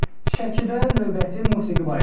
Şəkidə növbəti musiqi bayramı.